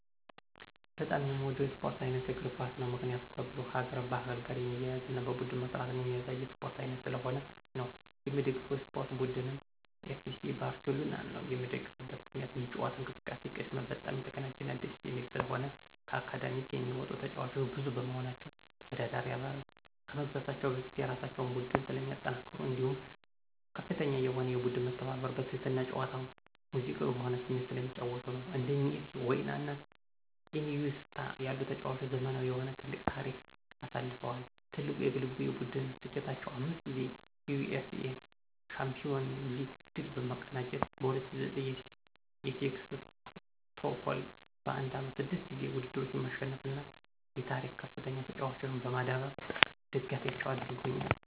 በጣም የምወደው የስፖርት ዓይነት እግር ኳስ ነው። ምክንያቱም ከብዙ ሀገር ባህል ጋር የሚያያዝና በቡድን መስራትን የሚያሳይ የስፖርት ዓይነት ስለሆነ ነው። የምደግፈው የስፖርት ቡድንም ኤፍሲ ባርሴሎናን ነዉ። የምደግፍበት ምክንያትም የጨዋታ እንቅስቃሴ ቅድመ በጣም የተቀናጀና ደስ የሚል ስለሆነ፣ ከአካዳሚክ የሚወጡ ተጫዋቾች ብዙ በመሆናቸው፣ ተወዳዳሪ አባል ከመግዛታቸው በፊት የራሳቸውን ቡድን ስለሚያጠናክሩ እንዲሁም ከፍተኛ የሆነ የቡድን መተባበርና በትህትና ጨዋታ ሙዚቃዊ በሆነ ስሜት ስለሚጫወቱ ነዉ። እንደ ሜሲ፣ ዋይና ኢኒዬስታ ያሉ ተጫዋቾች ዘመናዊ የሆነ ትልቅ ታሪክ አሳልፈዋል። ትልቁ የግልና የቡድን ስኬታቸውም 5 ጊዜ የዩኢኤፍኤ ሻምፒዮንስ ሊግ ድል መቀዳጀት፣ በ2009 የሴክስቶፖል በአንድ ዓመት 6 ጊዜ ውድድሮችን ማሸነፍና የታሪክከፍተኛ ተጫዋቾችን በማዳበር ደጋፊያቸው አድርጎኛል።